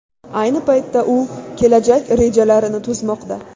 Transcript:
Ayni paytda u kelajak rejalarini tuzmoqda.